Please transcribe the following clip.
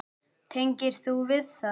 Tengir þú við það?